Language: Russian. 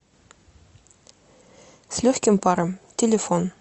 с легким паром телефон